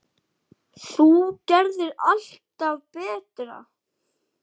Þú gerðir alltaf allt betra.